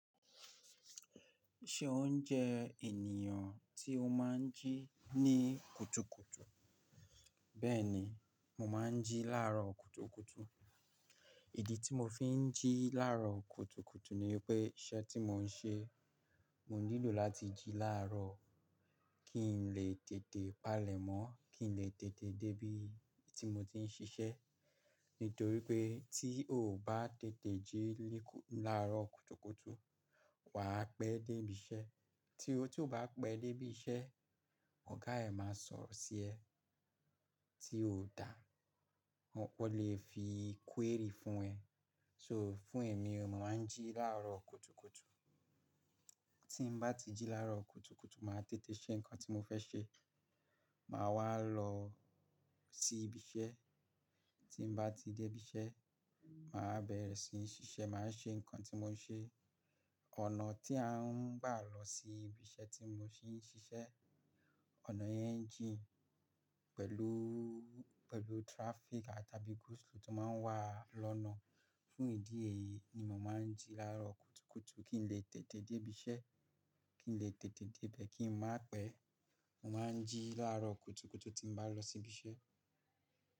Ṣé o ń jẹ ènìyàn tí o máa ń jí ní kùtùkùtù? Bẹ́ẹ̀ni, mo máa ń jí lárò kùtùkùtù. Ìdí tí mo fi ń jí lárò kùtùkùtù ni pé iṣẹ́ tí mo ń ṣe, mo nílò láti jí lárò kí n lè tètè palẹ̀ mọ́, kí n lè tètè dé bí i tí mo ti ń ṣiṣẹ́. Nítorí pé tí o ò bá tètè jí lárò kùtùkùtù, wà á pẹ́ dé ibi iṣẹ́. Tí o tí o bá pẹ́ dé ibi iṣẹ́, ọ̀gá ẹ máa sọ̀rọ̀ sí ẹ tí ó dà. Wọn lè fi query fún ẹ. So fún èmi, mo máa ń jí lárò kùtùkùtù. Tín m bá ti jí lárò kùtùkùtù, màá tètè ṣe nǹkan tí mo fẹ́ ṣe. Màá wá lọ sí ibi iṣẹ́. Tín m bá ti dé ibi iṣẹ́, mà á bẹ̀rẹ̀ sí ní ṣiṣẹ́. Mà á ṣe nǹkan tí mo ń ṣe. Ọ̀nà tí à ń gbà lọ sí ibi iṣẹ́ tí mo ti ń ṣiṣẹ́, ọ̀nà yẹn jí pẹ̀lú, pẹ̀lú traffic àtàbí go-slow tó máa ń wà lọ́nà. Fún ìdí èyí ni mo máa ń jí lárò kùtùkùtù kí n lè tètè dé ibi iṣẹ́, kí n lè tètè dé bẹ̀ kí n má pẹ́. Mo máa ń jí lárò kùtùkùtù tí mo bá lọ sí ibi iṣẹ́